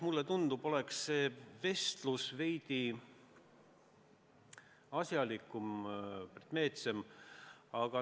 Mulle tundub, et see arutelu oleks veidi asjalikum, konkreetsem.